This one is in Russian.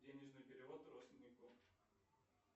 денежный перевод родственнику